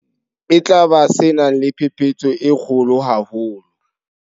E tla ba se nang le phephetso e kgolo haholo.